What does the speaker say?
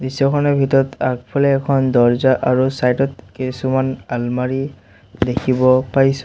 দৃশ্যখনৰ ভিতৰত আগফালে এখন দৰ্জা আৰু চাইড ত কেছুমান আলমাৰী দেখিব পাইছোঁ।